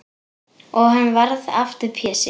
Og hann varð aftur Pési.